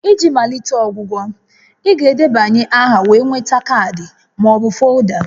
Iji malite ọgwụgwọ, ị ga-edebanye aha wee nweta kaadị ma ọ bụ folda